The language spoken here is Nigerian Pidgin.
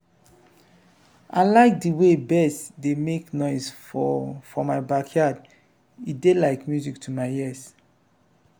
i like de way birds dey make noise for for my backyard e dey like music to my ears.